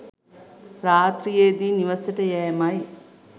රාත්‍රියේදී නිවසට යෑමයි.